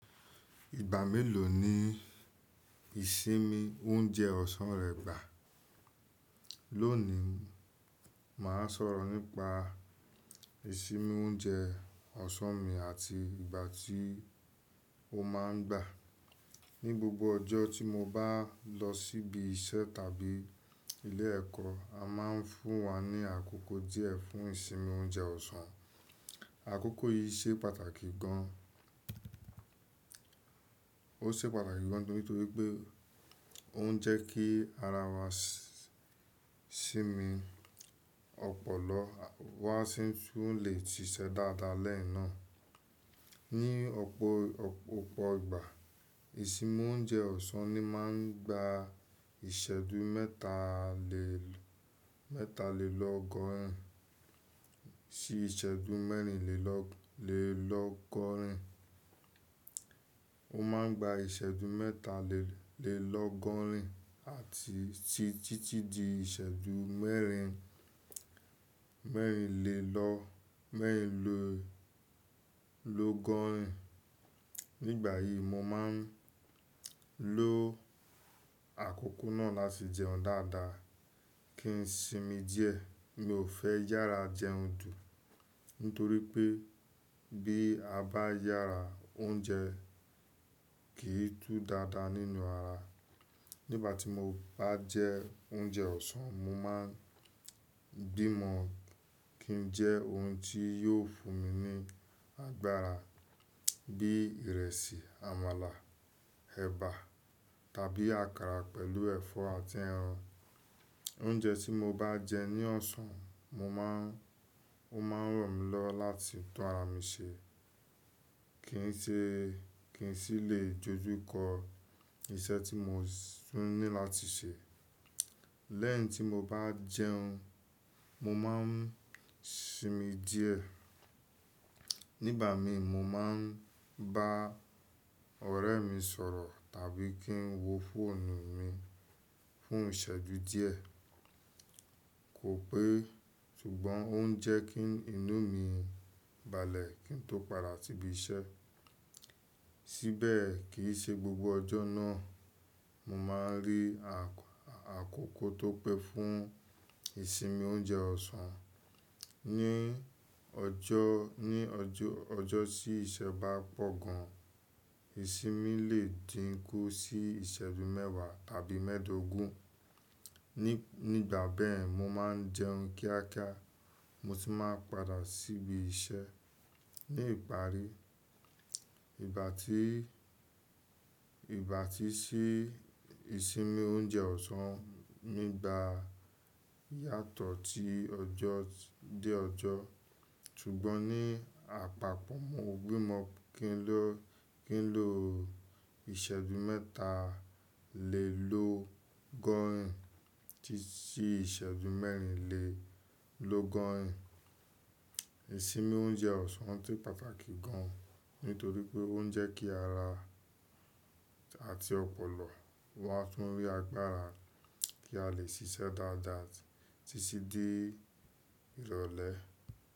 Ìgbà mélòó ni ìsinmi oúnjẹ ọ̀sán rẹ gbà? Lónìí, màá sọ̀rọ̀ nípa ìsinmi oúnjẹ ọ̀sán mi àti ìgbà tí ó má a ń gbà. Ni gbogbo ọjọ́ tí mo bá lọ síbi iṣẹ́ tàbí ilé ẹ̀kọ́, a máa ń fún wa ní àkókò díẹ̀ fún ìsinmi oúnjẹ ọ̀sán. Àkókò yìí ṣe pàtàkì gan. Ó ṣe pàtàkì gan nítorí pé ó ń jẹ́ kí ara wa sinmi, ọpọlọ wa sì tún lè ṣiṣẹ́ dáadáa lẹ́yìn náà. Ni ọ̀pọ̀, ọ̀pọ̀ ìgbà, ìsinmi oúnjẹ ọ̀sán ni máa ń gba ìṣẹ́jú mẹ̀ta lé, mẹ́ta lé lọ́gọ́rin sí ìṣẹ́jú mẹ́rin lé lọ́, lé lọ́gọ́rin. Ó máa ń gba ìṣẹ́jú mẹ̀ta lé, lé lọ́gọ́rin àti sí títí di ìṣẹ́jú mẹ́rin, mẹ́rin lé lọ, mẹ́rin lé lọ́gọ́rin. Nígbà yìí, mo máa ń lo àkókò náà láti jẹun dáadáa kí n sinmi díẹ̀. Mi ò fẹ́ yára jẹun dùn, nítorí pé bí a bá yára, oúnjẹ kì í tú dáadáa nínú ara. Nígbà tí mo bá jẹ oúnjẹ ọ̀sán, mo máa ń gbímọ̀ kí n jẹ ohun tí yóò fún mi ní agbára bí ìrẹsì, àmàlà, ẹ̀bà tàbí àkàrà pẹ̀lú ẹ̀fọ́ àti ẹran. Oúnjẹ tí mo bá jẹ ní ọ̀sán, mo máa ń, ó máa ń ràn mí lọ láti tún ara mi ṣe. Kì í ṣe, kì í sì lè jójú kọ iṣẹ́ tí mo tún ní láti ṣe. Lẹ́yìn tí mo bá jẹun, mo máa ń sinmi díẹ̀. Nígbà mi, mo máa ń bá ọ̀rẹ́ mi sọ̀rọ̀ tàbí kí n wo fọ́ọ̀nù mi fún ìṣẹ́jú díẹ̀. Kò pé, ṣùgbọ́n ó ń jẹ́ kí inú mi balẹ̀ kí n tó padà síbi iṣẹ́. Síbẹ̀, kì í ṣe gbogbo ọjọ́ náà mo máa ń rí àkọ́kọ́ tó pẹ́ fún ìsinmi oúnjẹ ọ̀sán. Ni ọjọ́, ní ọjọ́, ọjọ́ tí iṣẹ́ bá pọ̀ gan, ìsinmi lè dínkú sí ìṣẹ́dúúmẹ́wàá tàbí mẹ́ẹ̀dógún. Ni, nígbà bẹ́ẹ̀, mo máa ń jẹun kíákíá mo sì máa ń padà síbi iṣẹ́. Ni ìparí, ìgbà tí, ìgbà tí sí ìsinmi oúnjẹ ọ̀sán mi gba yàtọ̀ tí ọjọ́ dé ọjọ́. Ṣùgbọ́n ní àpapọ̀, mo gbímọ̀ kí n lọ, kí n lo ìṣẹ́jú mẹ̀ta lé lọ́gọ́rin títí ìṣẹ́jú mẹ́rin lé lọ́gọ́rin. Ìsinmi oúnjẹ ọ̀sán tí pàtàkì gan, nítorí pé ó ń jẹ́ kí ara àti ọpọlọ wa tún rí agbára tí a lè ṣiṣẹ́ dáadáa títí dé ìrọ̀lẹ́.